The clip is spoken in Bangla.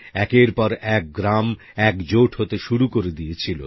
একের পর এক গ্রাম একজোট হতে শুরু করে দিয়েছিল